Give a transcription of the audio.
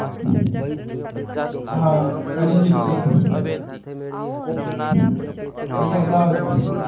હા અરિજિતસિંગ અહીંયા અમદાવાદમાં